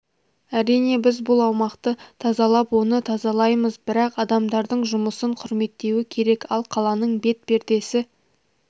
әрине біз бұл аумақты тазалап оны тазалаймыз бірақ адамдардың жұмысын құрметтеуі керек ал қаланың бет пердесі